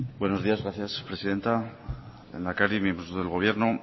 buenos días gracias presidenta lehendakari miembros del gobierno